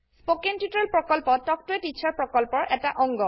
spoken tutorial প্ৰকল্প talk to a teacher প্ৰকল্পৰ এটা অংগ